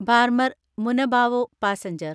Barmer Munabao passenger